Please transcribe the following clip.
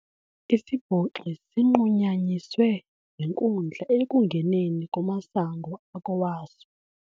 Isibhoxi sinqunyanyiswe yinkundla ekungeneni kumasango akowaso.